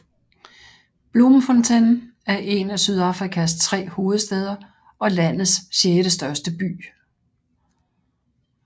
Bloemfontein er en af Sydafrikas tre hovedstæder og landets sjettestørste by